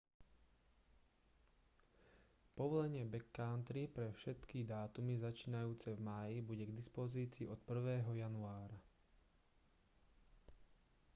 povolenie backcountry pre všetky dátumy začínajúce v máji bude k dispozícii od 1. januára